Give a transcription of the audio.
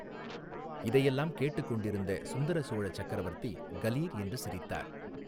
இதையெல்லாம் கேட்டுக் கொண்டிருந்த சுந்தர சோழ சக்கரவர்த்தி கலீர் என்று சிரித்தார்.